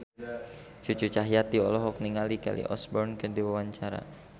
Cucu Cahyati olohok ningali Kelly Osbourne keur diwawancara